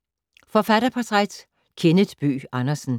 Forfatterportræt: Kenneth Bøgh Andersen